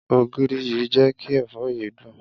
Ògìrì yìí jé kí èfó yìí dùn.